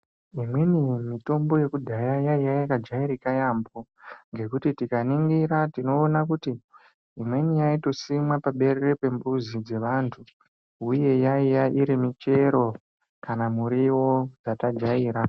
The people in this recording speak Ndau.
Imweni mitombo yekudhaya yaiya yakajairika yamho ngekuti tikaningira tinoone kuti imweni yaito simwa paberere pemuzi dzevantu uye yaiya iri michero kana miriwo yatajaira.